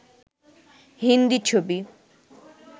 হিন্দি ছবি